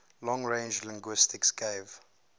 long range linguistics gave